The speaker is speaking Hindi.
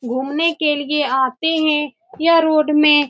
घूमने के लिए आते है यह रोड में --